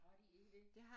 Har de ikke det?